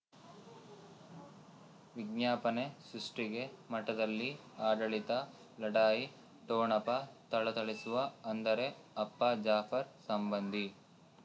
ವಿಜ್ಞಾಪನೆ ಸೃಷ್ಟಿಗೆ ಮಠದಲ್ಲಿ ಆಡಳಿತ ಲಢಾಯಿ ಠೊಣಪ ಥಳಥಳಿಸುವ ಅಂದರೆ ಅಪ್ಪ ಜಾಫರ್ ಸಂಬಂಧಿ